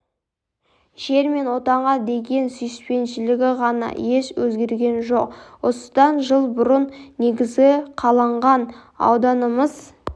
жер мен отанға деген сүйіспеншілігі ғана еш өзгерген жоқ осыдан жыл бұрын негізі қаланған ауданымыз